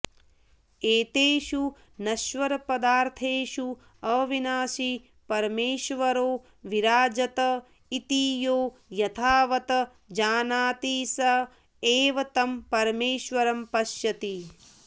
एतेषु नश्वरपदार्थेषु अविनाशी परमेश्वरो विराजत इति यो यथावत् जानाति स एव तं परमेश्वरं पश्यति